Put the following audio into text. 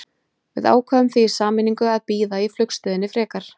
Við ákváðum því í sameiningu að bíða í flugstöðinni frekar.